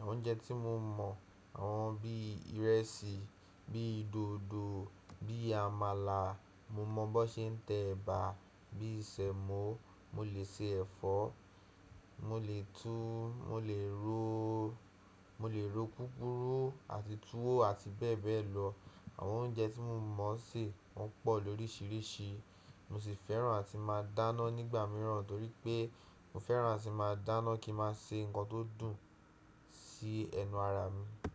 Àwọn oúnjẹ tí mo mọ̀, àwọn bí i ìrẹsì, bíi dòdò, bíi àmàlà. Mo mọ̀ bó ṣe ń tẹ ẹ̀bà, bí i sẹ̀mọ́. Mo lè ṣe ẹ̀fọ́, mo lè tú, mo lè ro, mo lè ro púpuru àti tuwó àti bẹ́ẹ̀ bẹ́ẹ̀ lọ. Àwọn oúnjẹ tí mo mọ̀ ṣe wọ́n pọ̀ lóríṣiríṣi. Mo sì fẹ́ràn àti máa dáná nígbà mìíràn torí pé mo fẹ́ràn àti máa dáná kí ń má ṣe ń ṣe nnkan tó dùn sí ẹnu ara mi.